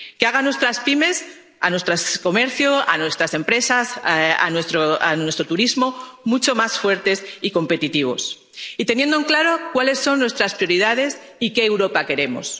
que hagan a nuestras pymes, a nuestro comercio, a nuestras empresas, a nuestro turismo mucho más fuertes y competitivos, y teniendo claro cuáles son nuestras prioridades y qué Europa queremos.